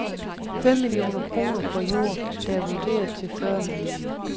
Fem millioner kroner for jord, der er vurderet til fyrre millioner.